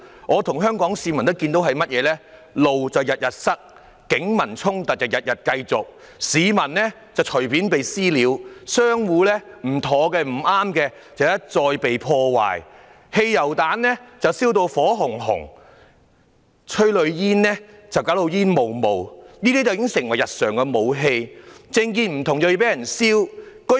我和香港市民看到的是，道路每天被堵，警民衝突每天繼續，市民隨便被"私了"，不喜歡的商戶一再被破壞，汽油彈燒得火紅紅，催淚彈弄至煙霧彌漫，這些已經成為日常武器，政見不同會被燒。